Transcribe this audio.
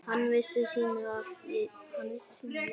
Hann vissi sínu viti.